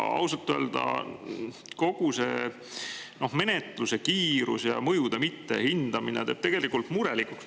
Ausalt öelda teeb kogu selle menetluse kiirus ja mõjude mittehindamine tegelikult murelikuks.